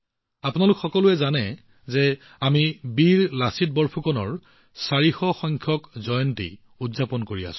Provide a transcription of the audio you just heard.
আপোনালোক সকলোৱে জানে যে আমি বীৰ লাচিত বৰফুকনজীৰ ৪০০ তম জন্ম জয়ন্তী উদযাপন কৰি আছো